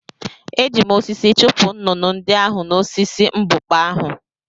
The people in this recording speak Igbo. Eji m osisi chụpụ nnụnụ ndị ahụ n’osisi mbukpa ahụ.